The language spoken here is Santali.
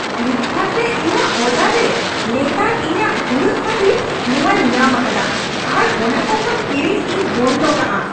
ᱯᱷᱞᱤᱯᱠᱟᱨᱴ ᱨᱮ ᱤᱧᱟᱹᱜ ᱚᱨᱰᱟᱨᱨᱮ ᱞᱮᱛᱟᱲ ᱤᱧᱟᱹᱜ ᱦᱩᱲᱟᱹᱜ ᱠᱷᱟᱹᱛᱤᱨ ᱱᱚᱶᱟᱧ ᱧᱟᱢ ᱟᱠᱟᱫᱟ ᱟᱨ ᱚᱱᱟ ᱠᱚ ᱠᱷᱚᱱ ᱠᱤᱨᱤᱧ ᱤᱧ ᱵᱚᱱᱫᱚ ᱠᱟᱜᱼᱟ ᱾